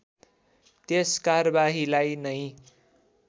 त्यस कारबाहीलाई नै